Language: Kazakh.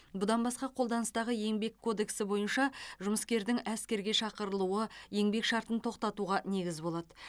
бұдан басқа қолданыстағы еңбек кодексі бойынша жұмыскердің әскерге шақырылуы еңбек шартын тоқтатуға негіз болады